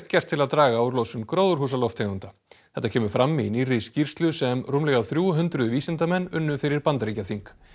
gert til að draga úr losun gróðurhúsalofttegunda þetta kemur fram í nýrri skýrslu sem rúmlega þrjú hundruð vísindamenn unnu fyrir Bandaríkjaþing